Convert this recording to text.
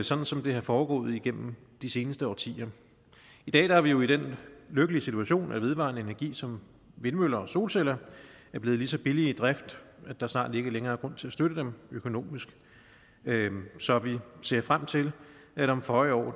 sådan som det er foregået igennem de seneste årtier i dag er vi jo i den lykkelige situation at vedvarende energi som vindmøller og solceller er blevet så billige i drift at der snart ikke længere er grund til at støtte dem økonomisk så vi ser frem til at om føje år